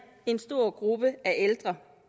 en stor gruppe af ældre